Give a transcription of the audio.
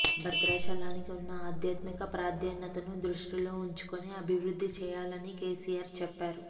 భధ్రాచలానికి ఉన్న ఆధ్యాత్మిక ప్రాధాన్యతను దృష్టిలో ఉంచుకొని అభివృద్ది చేయాలని కెసిఆర్ చెప్పారు